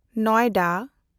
Noida